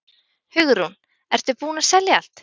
Hugrún: Ertu búinn að selja allt?